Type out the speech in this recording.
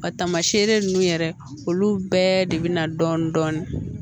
A tamaseere nunnu yɛrɛ olu bɛɛ de bina dɔɔnin dɔɔnin